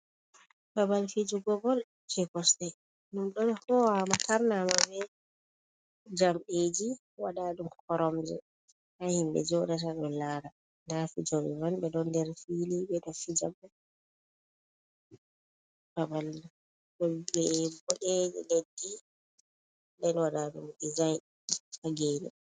Babal fiijugo bol je kosɗe ɗum ɗo hoowa ma tarnama be jamɗeji waɗaɗum koromje ha himɓe jooɗata ɗon laara, nda fiijoɓe man ɓe ɗon nder fiili ɓe ɗo fiija, ha babal ɗon be boɗe leddi nden waɗaɗum dizayin ha geene.